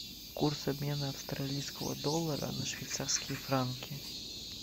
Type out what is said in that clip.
курс обмена австралийского доллара на швейцарские франки